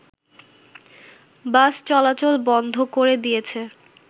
বাস চলাচল বন্ধ করে দিয়েছে